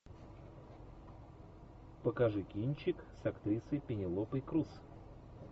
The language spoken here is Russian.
покажи кинчик с актрисой пенелопой крус